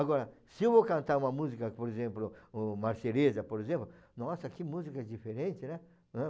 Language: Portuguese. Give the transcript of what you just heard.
Agora, se eu vou cantar uma música, por exemplo, o Marceresa por exemplo, nossa que música diferente, né? Ãh,